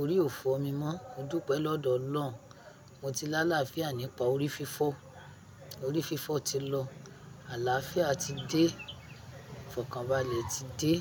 Orí ò fọ́ mi mọ́. Mo dúpẹ́ lọ́dọ̀ ọ lọ́run. Mo ti lá láfiá nípa orí fífọ́. Orí fífọ́ ti lọ. Àlàáfíà ti dé. Ìfọ̀kànbalẹ̀ ti dé.